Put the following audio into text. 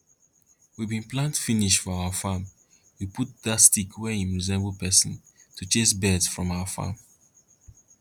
we bin plant finish for our farm we put dat stick wey im resemble person to chase birds from our farm